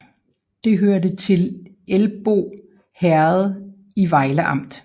Det hørte til Elbo Herred i Vejle Amt